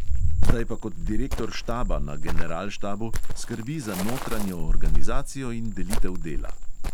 Zdaj pa kot direktor štaba na generalštabu skrbi za notranjo organizacijo in delitev dela.